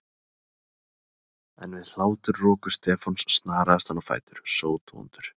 En við hláturroku Stefáns snaraðist hann á fætur, sótvondur.